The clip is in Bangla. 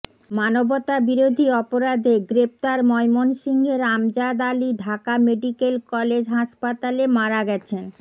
মানবতাবিরোধী অপরাধে গ্রেপ্তার ময়মনসিংহের আমজাদ আলী ঢাকা মেডিকেল কলেজ হাসপাতালে মারা গেছেন